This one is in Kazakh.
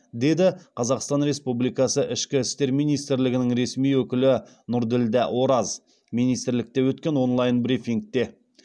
деді қазақстан республикасы ішкі істер министрлігінің ресми өкілі нұрділдә ораз министрлікте өткен онлайн брифингте